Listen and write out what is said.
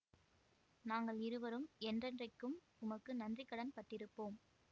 நாங்கள் இருவரும் என்றென்றைக்கும் உமக்கு நன்றி கடன்பட்டிருப்போம்